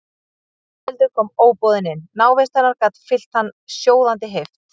Ingveldur kom óboðin inn, návist hennar gat fyllt hann sjóðandi heift.